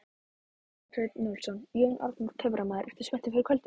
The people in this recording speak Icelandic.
Kjartan Hreinn Njálsson: Jón Arnór töframaður, ertu spenntur fyrir kvöldinu?